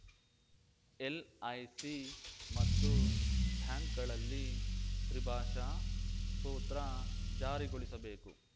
LIC ಮತ್ತು ಬ್ಯಾಂಕ್‌ಗಳಲ್ಲಿ ತ್ರಿಭಾಷಾ ಸೂತ್ರ ಜಾರಿಗೊಳಿಸಬೇಕು